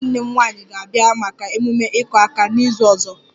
Nwunye nwanne m nwanyị ga-abịa maka ememe 'iku aka' n'izu ọzọ